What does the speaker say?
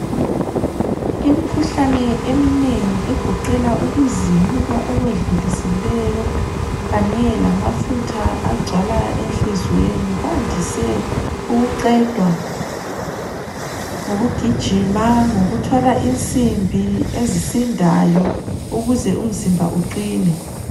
Imikhuhlane eminengi egoqela ukuzimuka okwedlulisileyo kanye lamafutha agcwala enhliziyweni kwandise ukuqedwa ngokugijima, ngokuthwala insimbi ezisindayo ukuze umzimba uqine.